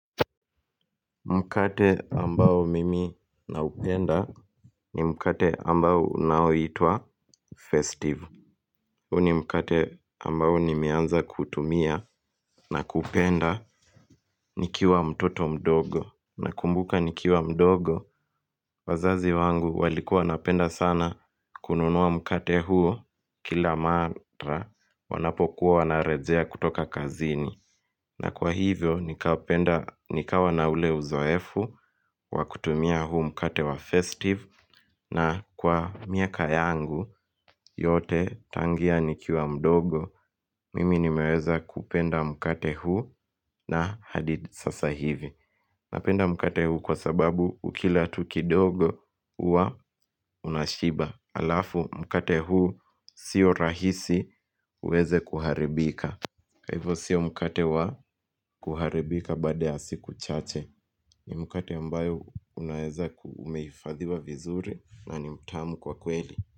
Mkate ambao mimi naupenda ni mkate ambao unaoitwa festivu Huni mkate ambao nimeanza kutumia na kupenda nikiwa mtoto mdogo na kumbuka nikiwa mdogo wazazi wangu walikuwa wanapenda sana kununua mkate huo kila matra wanapokuwa na rejea kutoka kazini na kwa hivyo nikawa na ule uzoefu wakutumia huu mkate wa festive na kwa miaka yangu yote tangia nikiwa mdogo mimi nimeweza kupenda mkate huu na hadith sasa hivi Napenda mkate huu kwa sababu ukila tuki dogo uwa unashiba alafu mkate huu sio rahisi uweze kuharibika kwa ivo siyo mkate wa kuharibika baada ya siku chache ni mkate ambayo unaeza kumeifadhiwa vizuri na ni mtamu kwa kweli.